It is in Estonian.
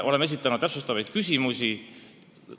Oleme esitanud täpsustavaid küsimusi.